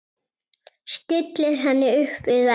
Stillir henni upp við vegg.